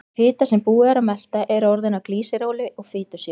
Fita sem búið er að melta er orðin að glýseróli og fitusýrum.